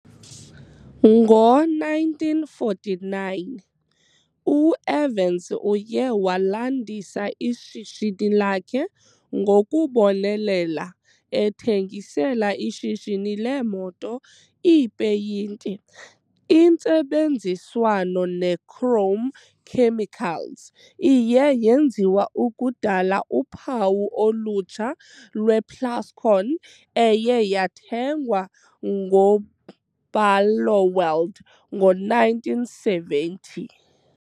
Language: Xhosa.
Ngo-1949, u-Evans uye walandisa ishishini lakhe ngokubonelela ethengisela ishishini leemoto iipeyinti. Intsebenziswano neChrome Chemicals iye yenziwa ukudala uphawu olutsha lwePlascon eye yathengwa nguBarloworld ngo-1970.